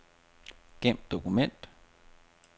Gem dokument.